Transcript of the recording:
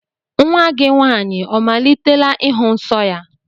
Nnwa gị nwaanyị ọ malitela ịhụ nsọ ya?